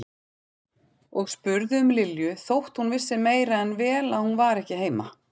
Og spurði um Lilju þótt hún vissi meira en vel að hún var ekki heima.